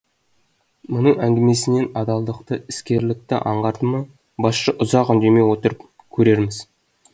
мұның әңгімесінен адалдықты іскерлікті аңғарды ма басшы ұзақ үндемей отырып көрерміз